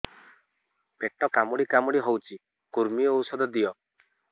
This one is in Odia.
ପେଟ କାମୁଡି କାମୁଡି ହଉଚି କୂର୍ମୀ ଔଷଧ ଦିଅ